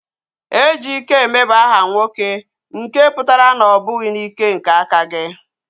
Ejikeme bụ aha nwoke nke pụtara na ọ bụghị n'ike nke aka gị